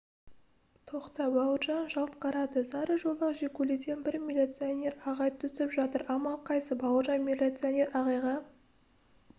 тоқта бауыржан жалт қарады сарыжолақ жигулиден бір милиционер ағай түсіп жатыр амал қайсы бауыржан милиционер ағайға